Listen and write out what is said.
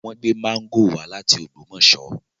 Wọ́n gbé máńgò wá láti Ògbómọ̀ṣọ́